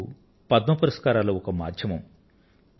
అందుకు పద్మ పురస్కారాలు ఒక మాధ్యమం